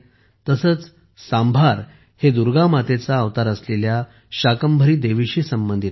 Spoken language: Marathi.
तसेच सांभार हे दुर्गामातेचा अवतार असलेल्या शाकंभरी देवीशी संबंधित आहे